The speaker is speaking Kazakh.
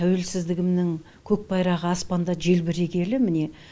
тәуелсіздігімнің көк байрағы аспанда желбірегелі міне